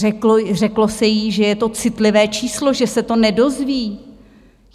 Řeklo se jí, že je to citlivé číslo, že se to nedozví.